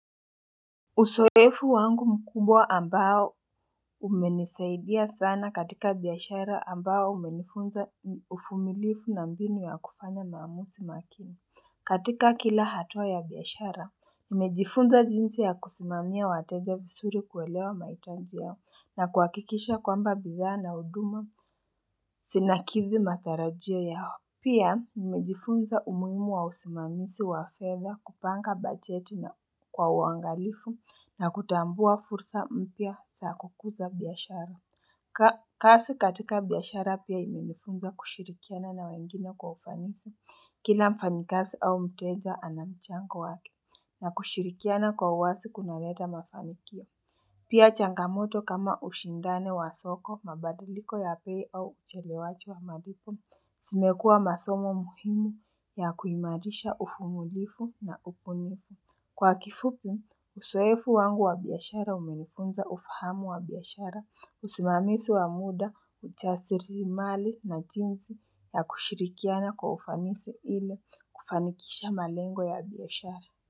Usoefu wangu mkubwa ambao umenisaidia sana katika biashara ambayo umenifunza ufumilifu na mbinu ya kufanya maamusi makini. Katika kila hatua ya biashara, nimejifunza jinsi ya kusimamia wateja visuri kuelewa maitanji yao na kuhakikisha kwamba bidhaa na huduma sinakithi matarajio yao. Pia nimejifunza umuhimu wa usimamisi wa fedha kupanga bacheti na kwa uangalifu na kutambua fursa mpya sa kukuza biashara. Kasi katika biashara pia imenifunza kushirikiana na wengine kwa ufanisi. Kila mfanyikasi au mteja anamchango wake na kushirikiana kwa uwasi kunaleta mafanikio. Pia changamoto kama ushindane wa soko mabadiliko ya pei au uchelewachi wa malipo, simekua masomo muhimu ya kuimarisha ufumulifu na upunifu. Kwa kifupi, usoefu wangu wa biashara umenifunza ufahamu wa biashara, usimamisi wa muda, uchasiri mali na jinsi ya kushirikiana kwa ufanisi ili kufanikisha malengo ya biashara.